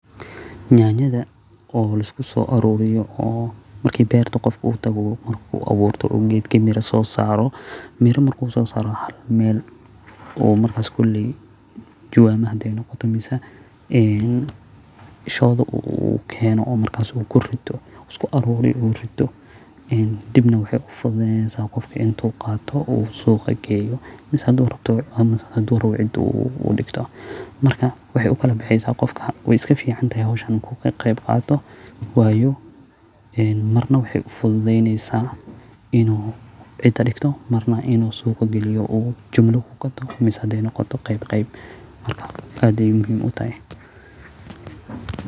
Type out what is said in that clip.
Yaanyada oo la isku soo aruuriyo oo marki beerta qofka uu tago oo marku abuurto oo geedka miro soo saaro, miro marki soo saaro waxa larabaa meel oo markas koley jawaamo hade noqoto mise een shoodo uu keeno oo markas uu kurido usku aruuriyo uu rido een dibna waxee ufududeeneysa qofka intuu qaato oo suuqa geeyo mise hadu rabto mise hadu rabo cida uu dhigto marka waxee ukala baxeysa qofka wee iska fiicantahay howshan marku ka qeeb qato wayo marna waxee ufududeeneysa inuu cida dhigto narna inuu suuqa galiyo uu jumlo ku gato mise hade noqoto qeeb qeeb marka aad bee muhiim utahay.